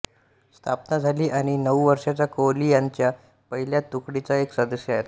स्थापना झाली आणि नऊ वर्षांचा कोहली त्यांच्या पहिल्या तुकडीचा एक सदस्य होता